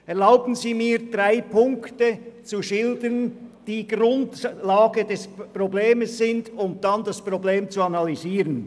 Erlauben Sie mir, drei grundsätzliche Punkte des Problems zu schildern, um anschliessend das Problem zu analysieren.